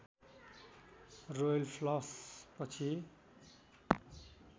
royal flush पछि